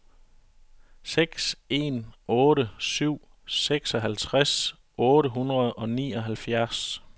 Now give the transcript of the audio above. seks en otte syv seksoghalvtreds otte hundrede og nioghalvfjerds